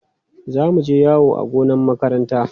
Za mu je yawo a gonar makaranta.